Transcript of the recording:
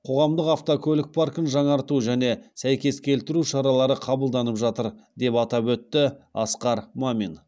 қоғамдық автокөлік паркін жаңарту және сәйкес келтіру шаралары қабылданып жатыр деп атап өтті асқар мамин